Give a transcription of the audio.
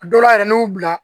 A dɔw la yɛrɛ n'i y'u bila